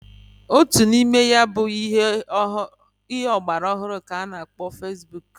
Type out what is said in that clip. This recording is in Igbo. Otu n'ime ya bụ ihe ọgbara ọhụrụ k'a na-akpọ fesbuk.